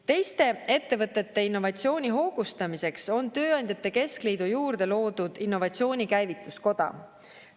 Teiste ettevõtete innovatsiooni hoogustamiseks on tööandjate keskliidu juurde loodud innovatsiooni käivituskoda.